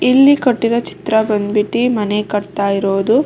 ಇಲ್ಲಿ ಕೊಟ್ಟಿರೋ ಚಿತ್ರ ಬಂದ್ಬಿಟ್ಟಿ ಮನೆ ಕಟ್ತಾ ಇರೋದು --